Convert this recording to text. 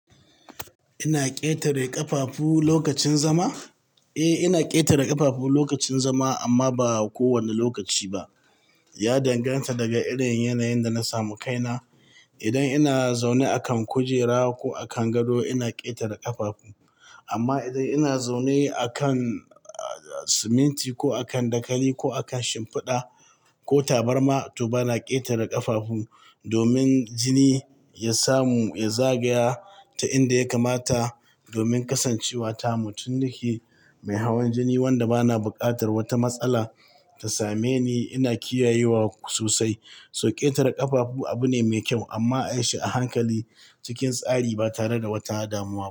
Ina ƙetare ƙafafu lokacin zama? Eh, ina ƙetare ƙafafu lokacin zama amma ba kowane lokaci ba. Ya danganta daga irin yanayin da na samu kaina. Idan ina zaune a kan kujera ko a kan gado, ina ƙetare ƙafafu. Amma idan ina zaune a kan siminti ko a kan dakali ko a kan shimfiɗa ko tabarma, to bana ƙetare ƙafafu domin jini ya samu, ya zagaya ta inda ya kamata domin kasancewa tamu, tunda ni mai hawan jini wanda bana buƙatar wata matsala ta same ni. Ina kiyayewa sosai, so ƙetare ƙafafu abu ne mai kyau amma a yi shi a hankali cikin tsari ba tare da wata damuwa ba.